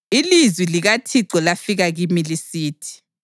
Ilizwi likaThixo lafika kimi lisithi: